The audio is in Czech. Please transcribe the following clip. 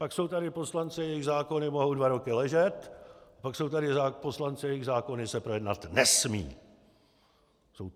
Pak jsou tady poslanci, jejichž zákony mohou dva roky ležet, pak jsou tady poslanci, jejichž zákony se projednat nesmějí!'